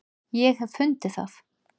ég hef fundið það!